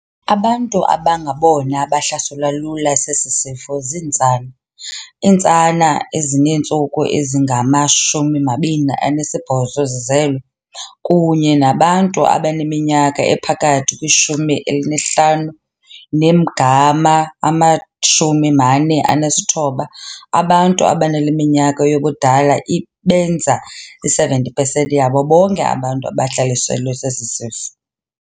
Abantu abangabona bahlaselwa lula sesi sifo zintsana - iintsana ezineentsuku ezingama-28 zizelwe, kunye nabantu abaneminyaka ephakathi kwi-15 nengama-49. Abantu abanale minyaka yobudala ibenza i-70 pesenti yabo bonke abantu abahlaselwe sesi sifo.